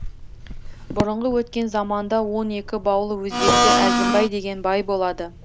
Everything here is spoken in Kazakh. бұрынғы өткен заманда он екі баулы өзбекте әзімбай деген бай болады